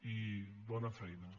i bona feina